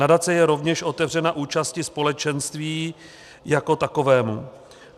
Nadace je rovněž otevřena účasti společenství (?) jako takovému.